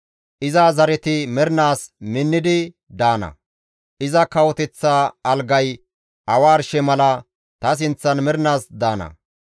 Iza zareti mernaas minnidi daana; iza kawoteththa algayka awa arshe mala ta sinththan mernaas daana.